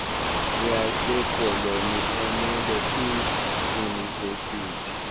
yasekoloni emele iidyunivesithi